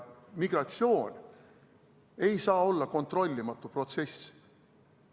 Migratsioon ei saa olla kontrollimatu protsess.